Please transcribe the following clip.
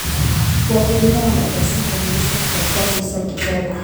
Wakulima wanapaswa kuhamasishwa kutafuta fursa za kifedha.